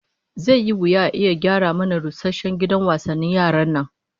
Zai yi wuya a iya gyara mana rusasshen gidan wasannin yaran nan